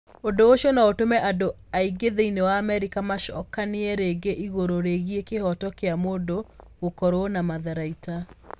Ũndũ ũcio no ũtũme andũ aingĩ thĩinĩ wa Amerika macokanie rĩngĩ igũrũ rĩgiĩ kĩhooto kĩa mũndũ gũkorũo na matharaita.